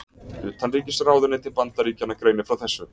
Utanríkisráðuneyti Bandaríkjanna greinir frá þessu